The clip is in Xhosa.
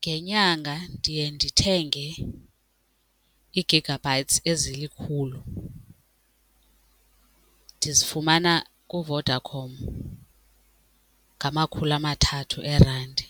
Ngenyanga ndiye ndithenge ii-gigabytes ezilikhulu ndizifumana kuVodacom ngamakhulu amathathu eerandi.